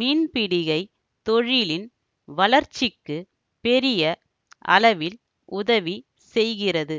மீன்பிடிகை தொழிலின் வளர்ச்சிக்கு பெரிய அளவில் உதவி செய்கிறது